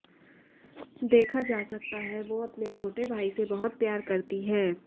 देखा जा सकता है वो अपने छोटे भाई से बहुत प्यार करती हैं